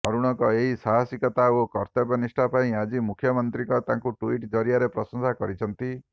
ଅରୁଣଙ୍କ ଏହି ସାହାସିକତା ଓ କର୍ତ୍ତବ୍ୟନିଷ୍ଠା ପାଇଁ ଆଜି ମୁଖ୍ୟମନ୍ତ୍ରୀଙ୍କ ତାଙ୍କୁ ଟ୍ବିଟ ଜରିଆରେ ପ୍ରଶଂସା କରିଛନ୍ତି